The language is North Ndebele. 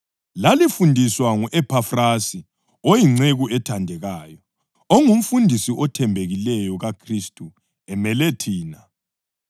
Lalifundiswa ngu-Ephafrasi oyinceku ethandekayo, ongumfundisi othembekileyo kaKhristu emele thina,